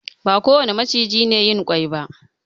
Ba kowane maciji ne yin ƙwai ba.